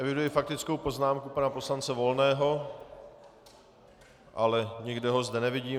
Eviduji faktickou poznámku pana poslance Volného, ale nikde ho zde nevidím.